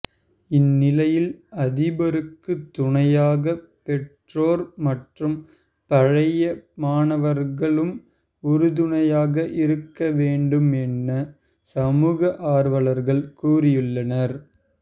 இந்நிலையில் அதிபருக்கு துணையாக பெற்றோர் மற்றும் பழைய மாணவர்களும் உறுதுணையாக இருக்க வேண்டும் என சமூக ஆர்வலர்கள் கூறியுள்ளனர்